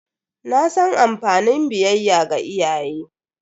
Na san amfani biyayya ga iyaye.